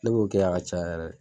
Ne b'o kɛ a ka ca yɛrɛ